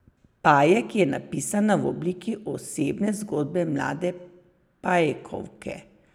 Pajek je napisana v obliki osebne zgodbe mlade pajkovke.